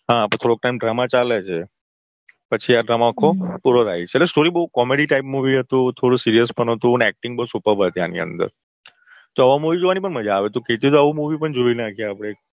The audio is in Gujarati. હા થોડો time drama ચાલે છે પછી આ drama આખો પૂરો થાય છે સરસ સ્ટોરી બહુ comady type movie હતું થોડું seriuse પણ હતું અને acting બહુ suppurb હતી આની અંદર તો આવું movie જોવાની પણ મજા આવે તું કેતી હોય તો આવું movie પણ જોઈ નાખીએ એક